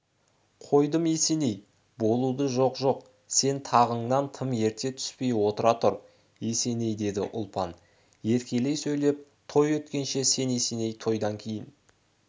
қойдым есеней болуды жоқ жоқ сен тағыңнан тым ерте түспей отыра тұр есеней деді ұлпан еркелей сөйлеп той өткенше сен есеней тойдан кейін